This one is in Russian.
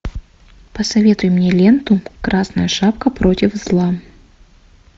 посоветуй мне ленту красная шапка против зла